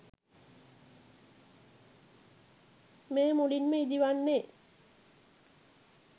මෙය මුලින්ම ඉදිවන්නේ